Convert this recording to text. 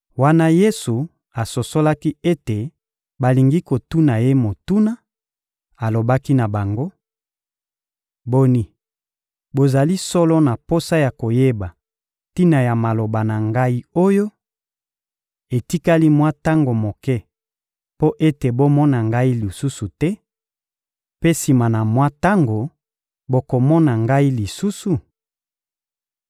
Wana Yesu asosolaki ete balingi kotuna Ye motuna, alobaki na bango: — Boni, bozali solo na posa ya koyeba tina ya maloba na Ngai oyo: «Etikali mwa tango moke mpo ete bomona Ngai lisusu te; mpe sima na mwa tango, bokomona Ngai lisusu?»